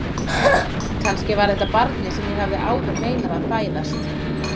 Kannski var þetta barnið sem ég hafði áður meinað að fæðast.